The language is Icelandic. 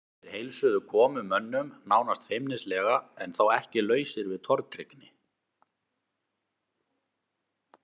Þeir heilsuðu komumönnum nánast feimnislega en þó ekki lausir við tortryggni.